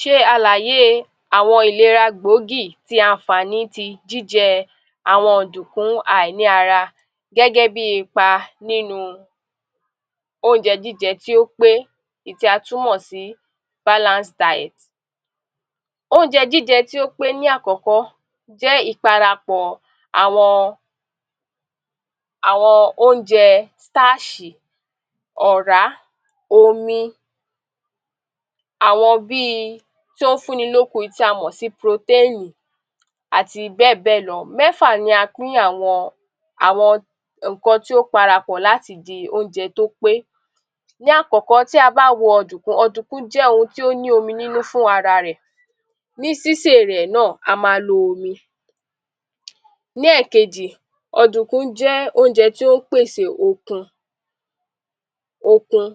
Ṣe àlàyé e àwọn ìlera gbòógì ti ànfàní ti jíjẹ àwọn ọ̀dùkún àìní ara gẹ́gẹ́ bí ipa nínu ónjẹ jíjẹ tí ó pé èyí tí a tún mọ̀ sí balance diet. Ónjẹ jíjẹ tí ó pé ní àkọ́kọ́ jẹ́ ìparapọ̀ àwọn Ónjẹ stáàṣì, ọ̀rá, omi àwọn bíi ti ó fún ni lókun yìí tí a mọ̀ sí proténì àti bẹ́ẹ̀ bẹ́ẹ̀ lọ. Mẹ́fà ni a pín àwọn àwọn ǹkan tí ó para pọ̀ láti di Ónjẹ tó pé. Ní àkọ́, tí a bá wo ọ̀dùkún ọ̀dùkún jẹ́ ohun tí ó ní omi nínú fúnrara rẹ̀ ní sísè e rẹ̀ náà a ma lo omi. Ní ẹ̀kejì, ọ̀dùkún jẹ́ Ónjẹ tí ó pèsè okun okun,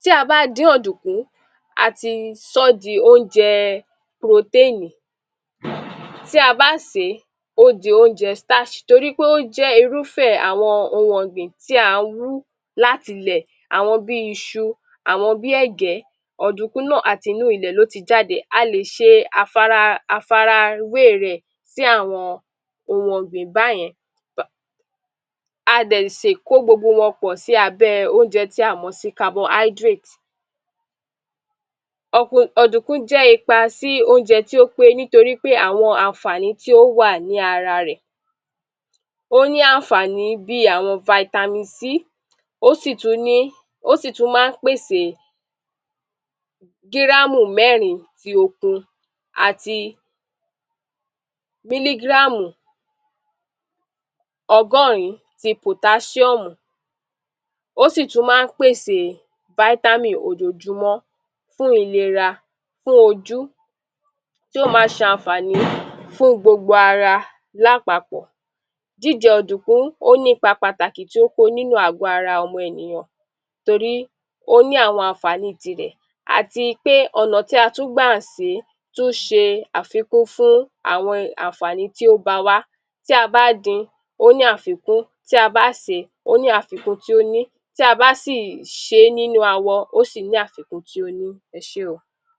tí a bá dín ọ̀dùkún a ti sọ́ di Ónjẹ proténì tí a bá sèé ó di Ónjẹ starch torí pé ó jẹ́ irúfẹ̀ àwọn ohun Ọ̀gbìn tí a wú l'átilẹ̀ àwọn bí isu àwọn bí ẹ̀gẹ́ ọ̀dùkún náà atinú ilẹ̀ ló jáde,a lè ṣe afara àfarawé e rẹ̀ sì àwọn ohun ọ̀gbìn báyẹn [ba] a dẹ̀ sì kó gbogbo wọn pọ̀ sí abẹ́ ẹ Ónjẹ tí a mọ̀ sí carbohydrate. Ọ̀k ọ̀dùkún jẹ́ ipa sí Ónjẹ tí ó pé nítorí pé àwọn ànfàní tí ó wà ní ara rẹ̀,ó ní ànfàní bíi àwọn vitamin C ó sì tún ní ó sì tún má ń pèsè gírámù mẹ́rin ti okun àti mílígráàmù ọgọ́rìn-ín ti pòtáṣíọ́ọ̀mù ó sì tún má ń pèsè vitamin ojoojúmọ́ fún ilera, fún ojú tí ó ma ṣ'ànfàní fún gbogbo ara lápapọ̀.Jíjẹ ọ̀dùkún ó n'ípa pàtàkì tí ó kó nínú àgọ ara ọmọ ènìyàn torí ó ní àwọn ànfàní i tirẹ̀ àti pé ọ̀nà tí a tún gbà sèé tún ṣe àfikún fún àwọn ànfàní tí ó ba wá tí a bá din,ó ní àfikún tí a bá sèé ó ní àfikún tí ó ní tí a bá sì ṣe é nínú awọ ó ṣì ní àfikún tí ó ní.Ẹ sé o.